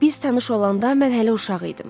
Biz tanış olanda mən hələ uşaq idim.